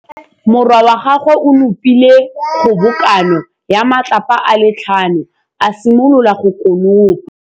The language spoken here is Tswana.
Morwa wa gagwe o nopile kgobokanô ya matlapa a le tlhano, a simolola go konopa.